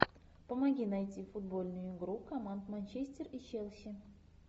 помоги найти футбольную игру команд манчестер и челси